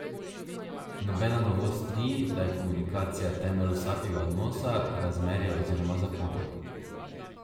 Nobena novost ni, da je komunikacija temelj vsakega odnosa, razmerja oziroma zakona.